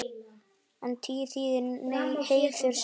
En tír þýðir heiður, sæmd.